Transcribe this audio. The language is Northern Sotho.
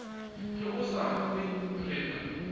ge o sa kwe rena